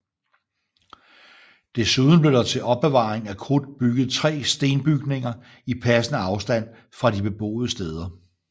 Desuden blev der til opbevaring af krudt bygget 3 stenbygninger i passende afstand fra de beboede steder